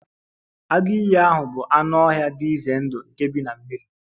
Agụ iyi ahụ bụ anụ ọhịa dị ize ndụ vey nke bi na mmiri